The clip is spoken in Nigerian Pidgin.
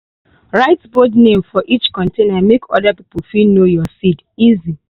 write bold name for each container make other people fit know your seed easy.